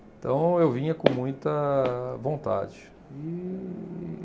Então eu vinha com muita vontade e.